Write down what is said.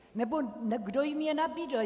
Nebo kdo jim je nabídl?